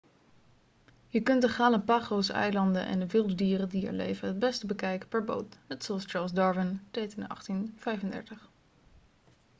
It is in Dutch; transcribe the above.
je kunt de galapagoseilanden en de wilde dieren die er leven het beste bekijken per boot net zoals charles darwin deed in 1835